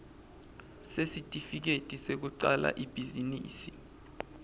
sesitifiketi sekucala ibhizinisi